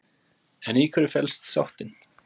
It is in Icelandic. En í hverju felst sáttin?